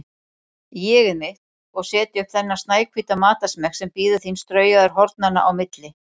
ÉG-ið mitt, og setja upp þennan snæhvíta matarsmekk sem bíður þín straujaður hornanna á milli.